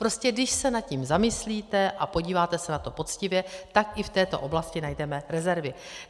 Prostě když se nad tím zamyslíte a podíváte se na to poctivě, tak i v této oblasti najdeme rezervy.